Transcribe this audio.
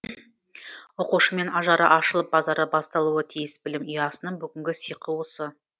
оқушымен ажары ашылып базары басталуы тиіс білім ұясының бүгінгі сиқы осы